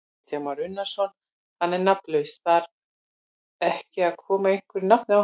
Kristján Már Unnarsson: Hann er nafnlaus, þar ekki að koma einhverju nafni á hann?